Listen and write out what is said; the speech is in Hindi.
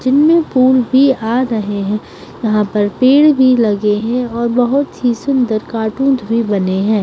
जिनमे फूल भी आ रहे है यहाँ पर पेड़ भी लगे है और बोहोत ही सुंदर कार्टून्स भी बने है।